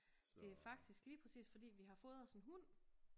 Det er faktisk lige præcis fordi vi har fået os en hund